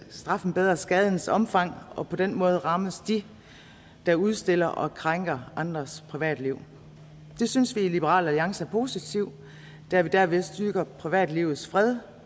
straffen bedre skadens omfang og på den måde rammes de der udstiller og krænker andres privatliv det synes vi i liberal alliance er positivt da vi derved styrker privatlivets fred